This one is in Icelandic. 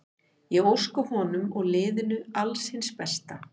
Ég óska honum og liðinu alls hins besta.